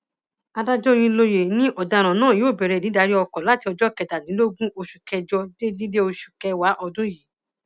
adájọ òyìnlóye ni ọdaràn náà yóò bẹrẹ dídarí ọkọ láti ọjọ kẹtàdínlógún oṣù kẹjọ títí dé oṣù kẹwàá ọdún yìí